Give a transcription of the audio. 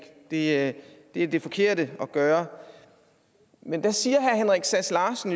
ikke det er det forkerte at gøre men der siger herre henrik sass larsen